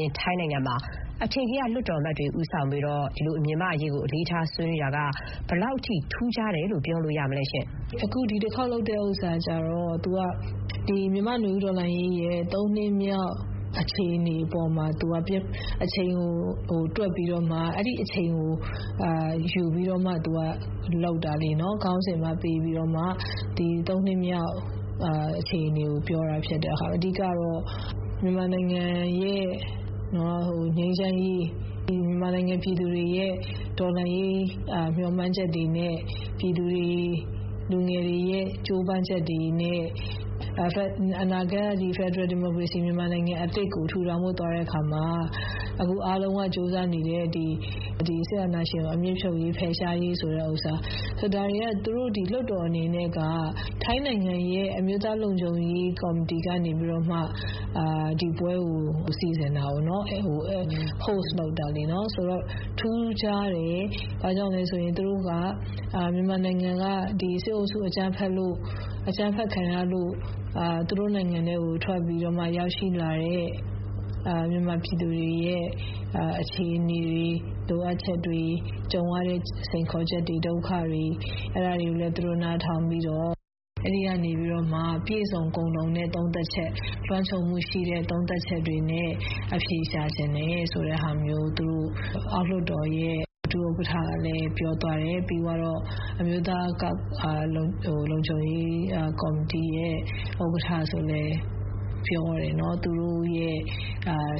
ျင်း ထိုင်းနိုင်ငံမှာ အထင်ကရ လွှတ်တော်အမတ်တွေက ဦးဆောင်ပြီး မြန်မာ့အရေးကို ဆွေးနွေးတာက ဘယ်လောက်အထိ ထူးခြားတယ်လို့ ပြောလို့ရမလဲ ရှင့်။ ဒေါ်ခင်ဥမ္မာ ။ ။ အခု ဒီတခေါက်လုပ်တာကျတော့ မြန်မာ့နွေဦးတော်လှန်ရေးရဲ့ ၃ နှစ်မြောက် အခြေအနေပေါ်မှာ မူတည်ပြီးတော့မှ သူကလုပ်တာလေ။ ခေါင်းစဥ်ကလည်း ဒီ ၃ နှစ်မြောက်လာပြီးနောက် အခြေနေကို ပြန်သုံးသပ်တာဖြစ်တယ်။ အဓိကတော့ မြန်မာနိုင်ငံရဲ့ ငြိမ်းချမ်းရေး ၊ မြန်မာပြည်သူတွေရဲ့ တော်လှန်ရေး မျှော်မှန်းချက်တွေနဲ့ လူငယ်တွေရဲ့ ကြိုးပမ်းချက်တွေနဲ့ အနာဂတ် ဖက်ဒရယ်ဒီမိုကရေစီ ပြည်ထောင်စုအသစ်ကို ထူထောင်ဖို့ သွားတဲ့အခါမှာ အခုအားလုံးက ကြိုးစားနေတဲ့ စစ်အာဏာရှင် အမြစ်ဖြုတ်ရေး ဖယ်ရှားရေး ကြိုးစားနေတဲ့ဟာ.. ဒါတွေက သူတို့ လွှတ်တော်အနေနဲ့က ဒီထိုင်းနိုင်ငံရဲ့ အမျိုးသားလုံခြုံရေး ကော်မတီကနေပြီးတော့မှ ဒီပွဲကို စီစဥ်တာကိုးနော့။ ဒါကြောင့် ထူးခြားတယ် ဘာကြောင့်လဲဆိုရင် သူတို့က မြန်မာစစ်အုပ်စု အကြမ်းဖက်ခံရလို့ သူတို့နိုင်ငံထဲကို ထွက်ပြေး ရောက်ရှိလာတဲ့ ြမန်မာပြည်သူတွေရဲ့ အခြေအနေတွေ လိုအပ်ချက်တွေ ကြုံရတဲ့ စိန်ခေါ်ချက် ဒုက္ခတွေ အဲဒါတွေကိုလည်း သူတို့ နားထောင်ပြီးတော့.. အဲဒီကနေပြီးတော့မှ ပြည့်စုံကုံလုံတဲ့ သုံးသပ်ချက် လွှမ်းခြုံမှုရှိတဲ့ သုံးသပ်ချက်တွေနဲ့ အဖြေရှာချင်တယ် ဆိုတဲ့ဟာမျိုး ထိုင်းအောက်လွှတ်တော်ရဲ့ ဒုဥက္ကဌကလည်း ပြောသွားတယ်။ ပြီးတော့ ထိုင်းအမျိုးသားလုံခြုံရေး ကော်မတီရဲ့ ဥက္ကဌဆိုလည်း ပြောတာပေါ့။ သူတို့ရဲ့